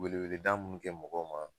Weele wele da munnu kɛ mɔgɔw ma